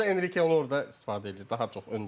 Sadəcə Enrike onu orda istifadə edir daha çox öndə.